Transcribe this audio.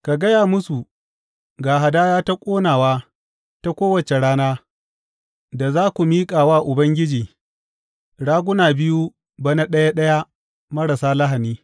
Ka gaya musu, Ga hadaya ta ƙonawa ta kowace rana, da za ku miƙa wa Ubangiji, raguna biyu, bana ɗaya ɗaya, marasa lahani.